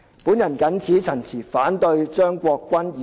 我謹此陳辭，反對張國鈞議員的原議案。